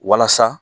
Walasa